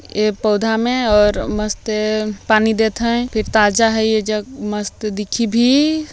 ए पौधा में और मस्त पानी देत हे फिर ताजा हे ए ज़ग मस्त दिखही भी --